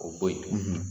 O bo yen